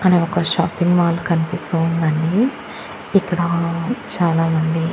పక్కనే ఒక shopping mall కన్పిస్తూ ఉందండి ఇక్కడా చాలామంది--